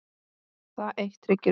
Það eitt tryggir öryggi.